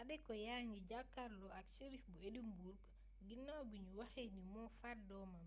adekoya a ngi jàkkarloo ak shérif bu édimbourg ginaaw bi ñu waxee ni moo faat doomam